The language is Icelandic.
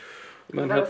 með